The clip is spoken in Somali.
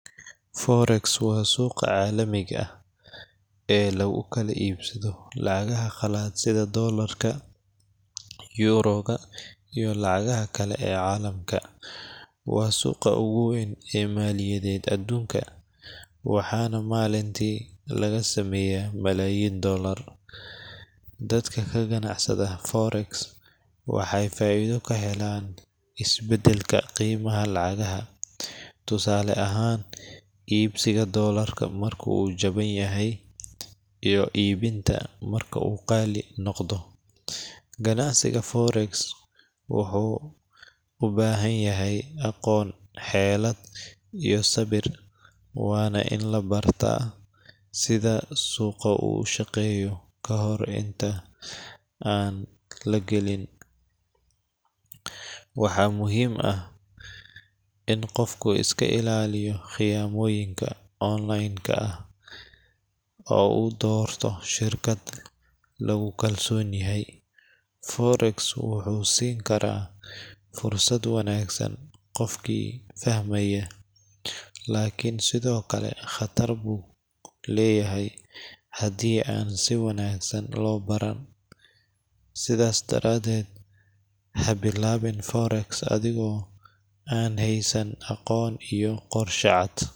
Forex waa suuqa caalamiga ah ee lagu kala iibsado lacagaha qalaad sida Doolarka, Yuuroga, iyo lacagaha kale ee caalamka. Waa suuqa ugu weyn ee maaliyadeed adduunka, waxaana maalintii laga sameeyaa malaayiin doollar. Dadka ka ganacsada forex waxay faa’iido ka helaan isbeddelka qiimaha lacagaha tusaale ahaan, iibsiga Doolarka marka uu jaban yahay iyo iibinta marka uu qaali noqdo. Ganacsiga forex wuxuu u baahan yahay aqoon, xeelad, iyo sabir, waana in la bartaa sida suuqu u shaqeeyo ka hor inta aan la gelin. Waxaa muhiim ah in qofku iska ilaaliyo khiyaamooyinka online ka ah oo uu doorto shirkado lagu kalsoon yahay. Forex wuxuu siin karaa fursad wanaagsan qofkii fahmaya, laakiin sidoo kale khatar buu leeyahay haddii aan si wanaagsan loo baran. Sidaas daradeed, ha bilaabin forex adigoo aan haysan aqoon iyo qorshe cad.